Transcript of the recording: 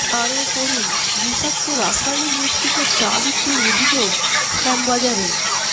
আরও পড়ুন বিষাক্ত রাসায়নিক মিশ্রিত চা বিক্রির অভিযোগ শ্যামবাজারে